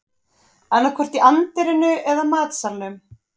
Annaðhvort í anddyrinu eða matsalnum